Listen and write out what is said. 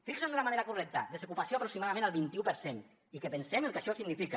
fixen d’una manera correcta desocupació aproximadament el vint un per cent i que pensem el que això significa